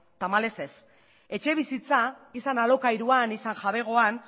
tamalez ez etxebizitza izan alokairuan izan jabegoan